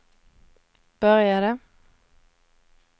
började